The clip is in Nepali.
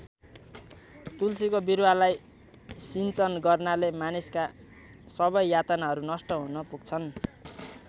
तुलसीको बिरुवालाई सिञ्चन गर्नाले मानिसका सबै यातनाहरू नष्ट हुन पुग्छन्।